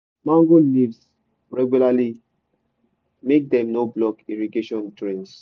mango leaves regularly make dem no block irrigation drains